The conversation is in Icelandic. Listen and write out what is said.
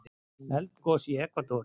Eldgos í Ekvador